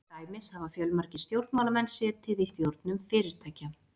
Til dæmis hafa fjölmargir stjórnmálamenn setið í stjórnum fyrirtækja.